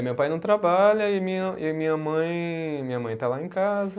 Meu pai não trabalha e minha, e minha mãe, minha mãe está lá em casa.